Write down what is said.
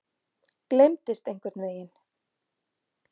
Gleymdist einhvern veginn.